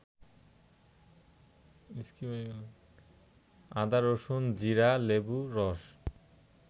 আদা, রসুন, জিরা, লেবুর রস